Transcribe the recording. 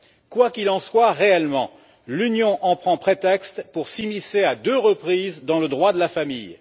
Quoi qu'il en soit réellement, l'Union en prend prétexte pour s'immiscer à deux reprises dans le droit de la famille.